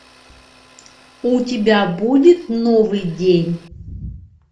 у тебя будет новый день